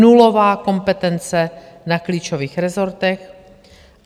Nulová kompetence na klíčových rezortech.